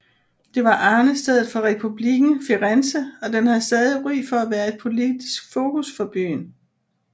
Det var arnestedet for Republikken Firenze og den har stadig ry for at være et politisk fokus for byen